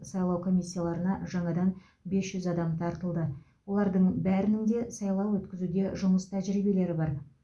сайлау комиссияларына жаңадан бес жүз адам тартылды олардың бәрінің де сайлау өткізуде жұмыс тәжірибелері бар